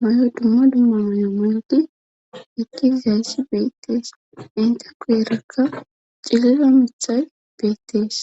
mayo dumma dumma mayo muyodi ekkis gayssi beettees inte ko erakka cilira mithay beettees